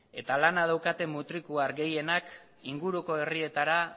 eta lana daukaten mutrikuar gehienak inguruko herrietara